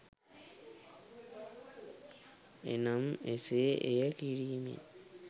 එනම් එසේ එය කිරීමෙන්